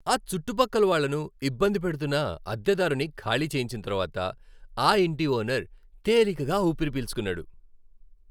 ఆ చుట్టుపక్కల వాళ్ళను ఇబ్బంది పెడుతున్న అద్దెదారుని ఖాళీ చేయించిన తర్వాత ఆ ఇంటి ఓనర్ తేలికగా ఊపిరి పీల్చుకున్నాడు.